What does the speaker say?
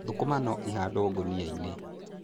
Thũkũma no ihandwo ngũnia-inĩ.